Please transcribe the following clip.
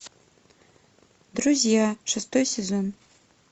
друзья шестой сезон